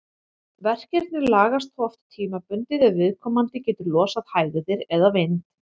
Verkirnir lagast þó oft tímabundið ef viðkomandi getur losað hægðir eða vind.